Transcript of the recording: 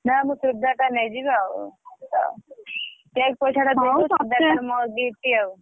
ନା ମୁଁ ଚୁଡିଦାର ଟା ନେଇଯିବି ଆଉ cake ପଇସା ଟା ଦେଇଦବୁ ଚୁଡିଦାର ଟା ମୋ gift ଆଉ।